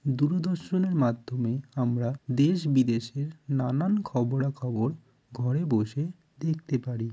দূরদর্শনের মাধ্যমে আমরা দেশ বিদেশের নানান খবরা খবর ঘরে বসে দেখতে পারি।